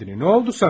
Nə oldu sənə?